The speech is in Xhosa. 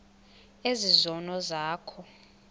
ezi zono zakho